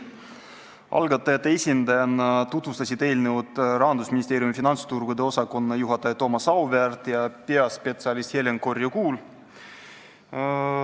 Algatajate esindajatena tutvustasid eelnõu Rahandusministeeriumi finantsturgude poliitika osakonna juhataja Thomas Auväärt ja peaspetsialist Helen Korju-Kuul.